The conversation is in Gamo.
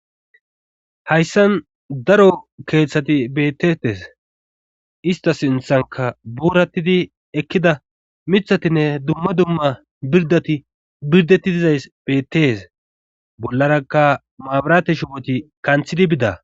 Hayssan daro keeththati bettetes ista sinthanka buurattidi ekkida mithatinne dumma dumma birdati birdati dizays bettes bollarakka maabarate shiwoti kanthidi bida.